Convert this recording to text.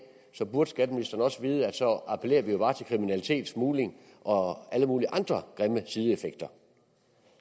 så burde skatteministeren også vide at så appellerer vi jo bare til kriminalitet til smugling og alle mulige andre grimme sideeffekter